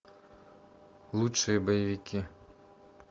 лучшие боевики